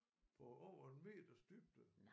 På over en meters dybde